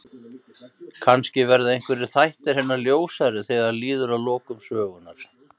Kannski verða einhverjir þættir hennar ljósari þegar líður að lokum sögunnar.